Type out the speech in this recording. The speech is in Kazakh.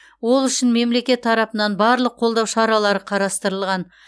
ол үшін мемлекет тарапынан барлық қолдау шаралары қарастырылған